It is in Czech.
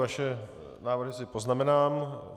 Vaše návrhy si poznamenám.